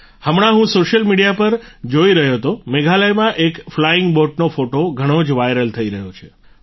હમણાં હું social media પર જોઈ રહ્યો હતો મેઘાલયમાં એક ફ્લાઈંગ બોટનો ફોટો ઘણો જ વાઈરલ થઈ રહ્યો છે